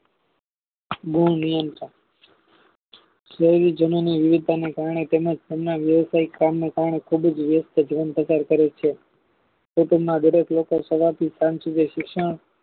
નિયમતા શહેરી જમીનની વિવિધતાને કારણે તેમને વ્યવસાય કામને તને ખુબ જ વ્યસ્ત છે તેમ પ્રચાર કરે છે તે તેમના વાદચ વવખત સવાર થી સાંજ સુધી